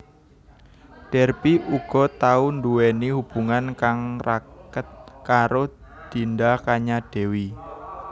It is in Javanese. Derby uga tau nduweni hubungan kang raket karo Dinda Kanyadewi